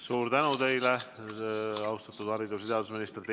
Suur tänu teile, austatud haridus‑ ja teadusminister!